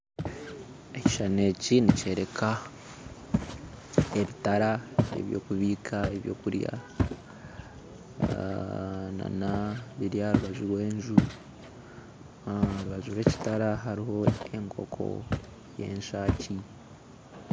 Ekishushani eki nikyereka ebitara ebyokubiika ebyokurya nana biri aha rubaju rw'enju, aharubaju rw'ekitara hariho enkoko y'enshaki